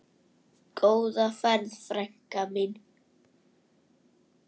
Góða ferð, frænka mín.